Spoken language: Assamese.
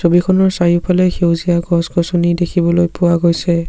ছবিখনৰ চাৰিওফালে সেউজীয়া গছ-গছনি দেখিবলৈ পোৱা গৈছে।